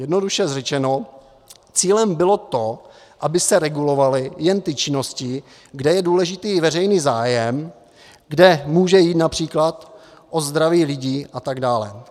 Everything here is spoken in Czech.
Jednoduše řečeno cílem bylo to, aby se regulovaly jen ty činnosti, kde je důležitý veřejný zájem, kde může jít například o zdraví lidí a tak dále.